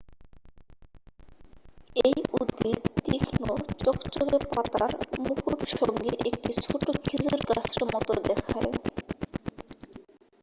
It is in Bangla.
এই উদ্ভিদ তীক্ষ্ণ চকচকে পাতার মুকুট সঙ্গে একটি ছোট খেজুর গাছের মত দেখায়